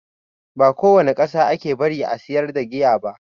Ba ko wani ƙasa ake bari a sayar da giya ba